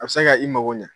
A bɛ se ka i mago ɲa